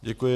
Děkuji.